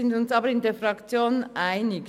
Wir sind uns aber in der Fraktion einig: